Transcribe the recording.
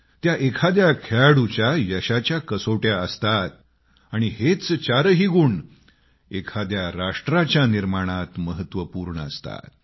त्या एखाद्या खेळाडूच्या यशस्वीतेच्या कसोट्या असतात आणि हेच चारही गुण एखाद्या राष्ट्राच्या निर्माणात महत्वपूर्ण असतात